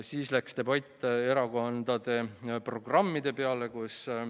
Siis läks debatt erakondade programmide peale.